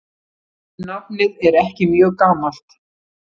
Nafnið er ekki mjög gamalt.